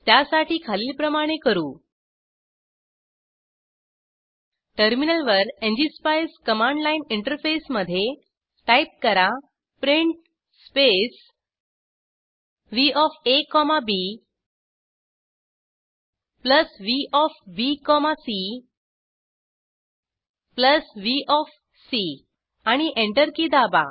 त्यासाठी खालीलप्रमाणे करू टर्मिनलवर एनजीएसपाईस कमांड लाईन इंटरफेसमध्ये टाईप करा print space V of A comma B plus V of B comma C plus V of C आणि एंटर की दाबा